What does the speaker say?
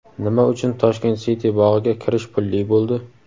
Nima uchun "Toshkent Siti" bog‘iga kirish pulli bo‘ldi?.